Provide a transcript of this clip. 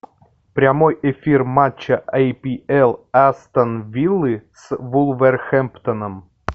прямой эфир матча апл астон виллы с вулверхэмптоном